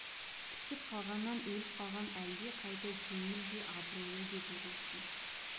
түсіп қалғаннан өліп қалған әлде қайда жеңіл де абыройлы еді ол үшін